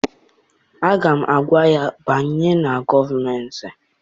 Aga m agwa ya, banye na gọọmentị!